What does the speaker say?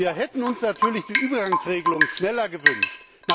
Wir hätten uns natürlich die Übergangsregelung schneller gewünscht.